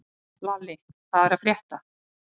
Lalli, hvað er að frétta?